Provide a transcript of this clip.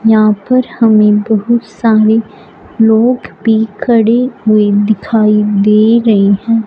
यहां पर हमे बहुत सारे लोग भी खड़े हुए दिखाई दे रहे है।